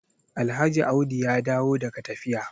Alhaji audi ya dawo daga tafiya